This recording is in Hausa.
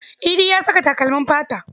Idi ya saka takalmin fata.